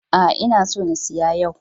A'a, ina so na siya yau.